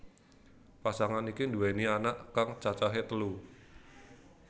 Pasangan iki nduweni anak kang cacahé telu